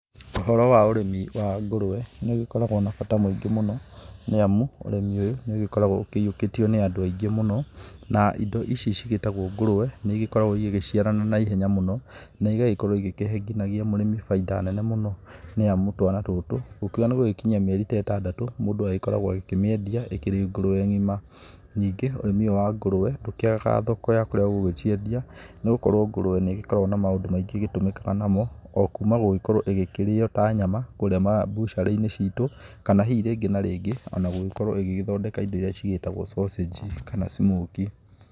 Ũhoro wa ũrĩmi wa ngũrũwe nĩ ũkoragwo na bata mũingĩ mũno nĩ amu ũrĩmi ũyũ nĩ ũgĩkoragwo ũkĩiyũkĩtio nĩ andũ aingĩ mũno. Na indo ici cigĩtagwo ngũrũwe nĩ igĩkoragwo igĩgĩciarana na ihenya mũno na igakorwo igĩkĩhe nginagia mũrĩmi bainda nene mũno. Nĩ amu twana tũtũ, ũkiũga nĩ gũkinyia mĩeri ta ĩtandatũ mũndũ agĩkoragwo akĩmĩendia ĩkĩrĩ ngũrũwe ng'ima. Nĩngĩ ũrĩmi ũyũ wa ngũrwe ndũkĩagaga thoko ya kũrĩa ũgũgĩciendia nĩ gũkorwo ngũrwe nĩ ĩgĩkoragwo na maũndũ maingĩ ĩgĩtumĩkaga namo. okuma gũgĩkorwo ĩgĩkĩrĩo ta nyama kũrĩa mbucirĩ-inĩ citũ. Kana hihi rĩngĩ na rĩngĩ ona gũgĩkorwo igĩgĩthondeka indo iria cigĩtagwo sausage kana smokie.